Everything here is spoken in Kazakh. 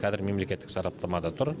қазір мемлекеттік сараптамада тұр